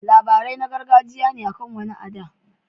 Labarai na gargajiya ne akan wani a da.